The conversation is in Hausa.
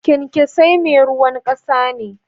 Kyankesai meruwan kasa ne.